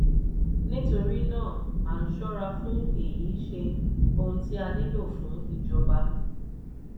nítorí náà a ń ṣọ́ra fún èyí ṣe ohun tí a nílò fún ìjọba.